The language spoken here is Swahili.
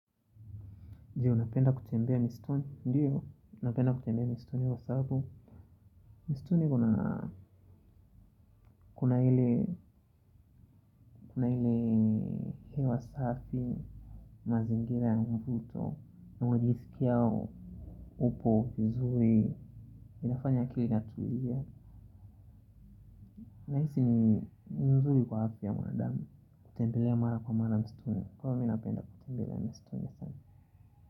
Je, unapenda kutembea misituni? Ndiyo, napenda kutembea misituni kwa sababu misituni kuna kuna ile hewa safi mazingira ya mvuto unajisikia upo vizuri inafanya kila nahisi ni nzuri kwa afya wanadamu. Kutembelea mara kwa mara msituni, kweli mimi napenda kutembelea msituni sana.